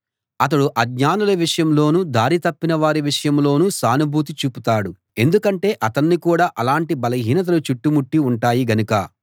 అతడు అజ్ఞానుల విషయంలోనూ దారి తప్పిన వారి విషయంలోనూ సానుభూతి చూపుతాడు ఎందుకంటే అతణ్ణి కూడా అలాంటి బలహీనతలు చుట్టుముట్టి ఉంటాయి గనక